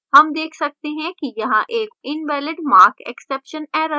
हम देख सकते हैं कि यहाँ एक invalidmarkexception error है